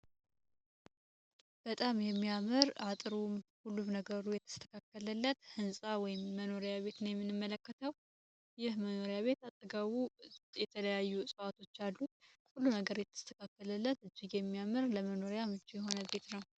በጣም የሚያምር አጥርው ሁሉም ነገሩ የተስተካከለለት ህንፃ ወይም መኖሪያ ቤት ነው የምንመለከተው። ይህ መኖሪያ ቤት አጠገቡ የተለያዩ ውጤት የተለያዩ አገሬ ተካፈለለት የሚያምር ለመኖርያ ምቹ የሆነ መኖሪያ ቤት ነው።